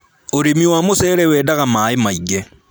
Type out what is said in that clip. Ūrĩmi wa mũcere wendaga maaĩ maingĩ